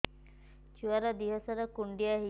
ଛୁଆର୍ ଦିହ ସାରା କୁଣ୍ଡିଆ ହେଇଚି